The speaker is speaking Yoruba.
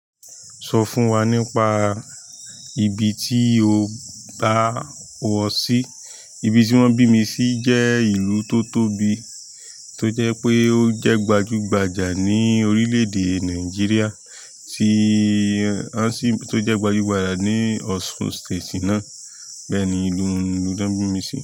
Sọ fún wa nípa ibi tí o bá wọ sí. Ibi tí wọ́n bí mi sí jẹ́ ìlú tó tóbi, tó jẹ́ pé ó jẹ́ gbajú gbajà ní orílẹ̀ èdè Nàìjíríà tí-- a sì tó jẹ́ gbajú gbajà ní ọsun state náà. Bẹ́ẹ̀ ni ìlú tí wọ́n bí mi sí.